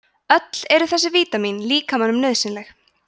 öll eru þessi vítamín líkamanum nauðsynleg